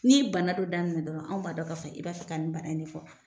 N'i ye bana dɔ daminɛ dɔrɔn anw b'a dɔn k'a fɔ i b'a fɛ ka nin baara in ne fɔ.